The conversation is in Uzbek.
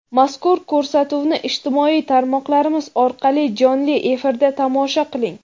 Mazkur ko‘rsatuvni ijtimoiy tarmoqlarimiz orqali jonli efirda tomosha qiling!.